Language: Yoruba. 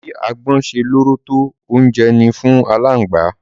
Bi agbọ́n ṣe lóró tó, oúnjẹ ni fún aláǹgbá.